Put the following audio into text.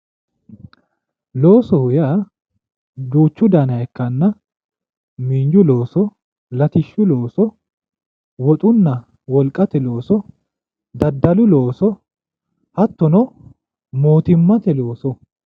loosoho yaa duuchu daniha ikkanna miinju looso latishshu looso woxunna wolqate looso daddalu looso hattono mootimmate loosooti.